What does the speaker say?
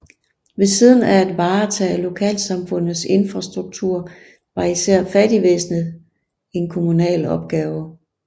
Ved siden af at varetage lokalsamfundets infrastruktur var især fattigvæsenet en kommunal opgave